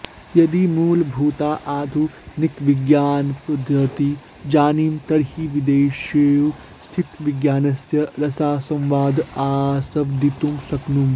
यदि मूलभूताः आधुनिकविज्ञानपध्दतीः जानीमः तर्हि वेदेषु स्थितविज्ञानस्य रसास्वादं आस्वदितुं शक्नुमः